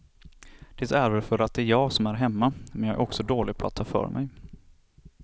Det är väl för att det är jag som är hemma, men jag är också dålig på att ta för mig.